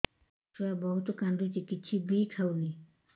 ଛୁଆ ବହୁତ୍ କାନ୍ଦୁଚି କିଛିବି ଖାଉନି